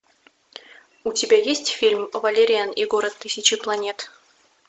у тебя есть фильм валериан и город тысячи планет